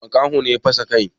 Makaho ne ya fasa kai.